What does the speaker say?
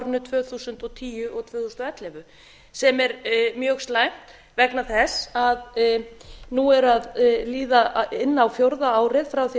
árunum tvö þúsund og tíu og tvö þúsund og ellefu sem er mjög slæmt vegna þess að nú er að líða inn á fjórða árið frá því að